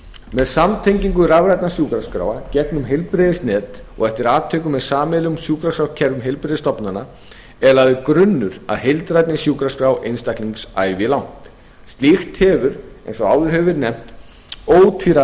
með samtengingu rafrænna sjúkraskráa gegnum heilbrigðisnet og eftir atvikum með sameiginlegum sjúkraskrárkerfum heilbrigðisstofnana eða er grunnur að heildrænni sjúkraskrá einstaklings ævilangt slík hefur eins og áður hefur verið nefnt ótvíræða kosti í